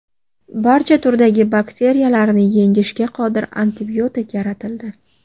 Barcha turdagi bakteriyalarni yengishga qodir antibiotik yaratildi.